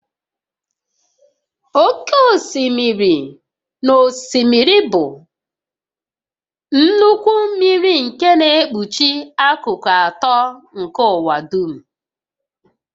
Oké osimiri na osimiri bụ nnukwu mmiri nke na-ekpuchi akụkụ atọ nke ụwa dum